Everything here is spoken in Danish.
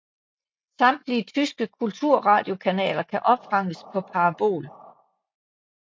Samtlige tyske kulturradiokanaler kan opfanges på parabol